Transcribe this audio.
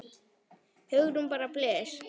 Hugrún: Bara blys?